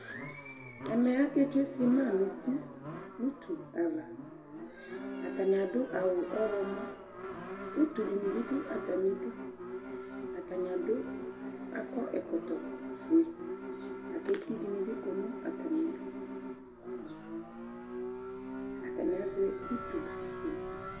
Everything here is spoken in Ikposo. Ɛmɛ, aketsue sɩma nuti nutu avaAtanɩ adʋ awʋ ɔɣlɔmɔ; utu dɩnɩ bɩ dʋ atamidu, atanɩ adʋ, akɔ ɛkɔtɔ fueAketi dɩnɩ bɩ kɔ nʋ atamiduAtanɩ azɛ utu